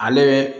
Ale